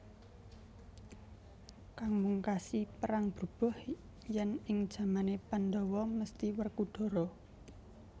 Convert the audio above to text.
Kang mungkasi perang brubuh yen ing jamane Pandhawa mesthi Werkudara